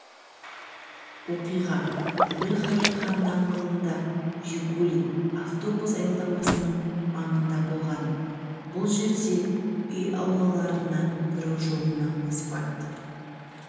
оқиға әбілқайыр хан даңғылында жигули автобус аялдамасының маңында болған бұл жерде үй аулаларына кіру жолына асфальт